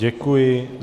Děkuji.